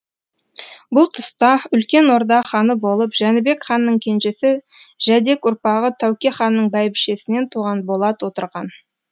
бұл тұста үлкен орда ханы болып жәнібек ханның кенжесі жәдек ұрпағы тәуке ханның бәйбішесінен туған болат отырған